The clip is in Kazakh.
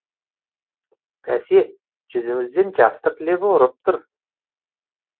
бәсе жүзіңізден жастық лебі ұрып тұр